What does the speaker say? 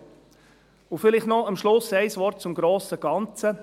Und vielleicht noch am Schluss ein Wort zum grossen Ganzen.